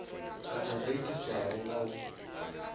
kana zwo itiswa nga u